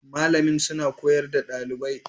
Malamin suna koyar da ɗalibai